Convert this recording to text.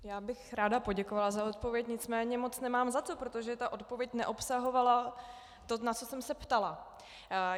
Já bych ráda poděkovala za odpověď, nicméně moc nemám za co, protože ta odpověď neobsahovala to, na co jsem se ptala.